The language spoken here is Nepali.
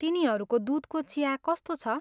तिनीहरूको दुधको चिया कस्तो छ?